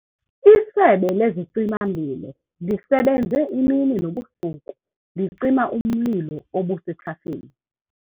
Isebe lezicima-mlilo lisebenze imini nobusuku licima umlilo obusethafeni.